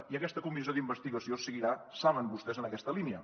i aquesta comissió d’investigació seguirà ho saben vostès en aquesta línia